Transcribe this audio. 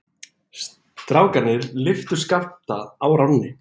Strákarnir lyftu Skapta á ránni.